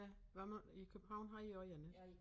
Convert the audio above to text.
Ja hvad med i København har i også én ik